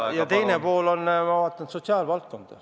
Ja teine pool on sotsiaalvaldkond.